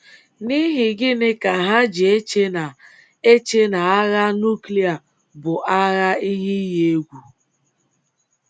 N’ihi gịnị ka ha ji eche na eche na agha núklịa ka bụ ihe iyi egwu?